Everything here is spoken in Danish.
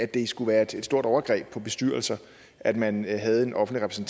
det skulle være et stort overgreb på bestyrelser at man havde en offentlig